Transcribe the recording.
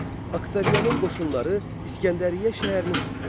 Oktavianın qoşunları İskəndəriyyə şəhərini tutdu.